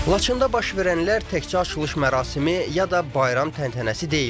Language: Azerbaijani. Laçında baş verənlər təkcə açılış mərasimi ya da bayram təntənəsi deyildi.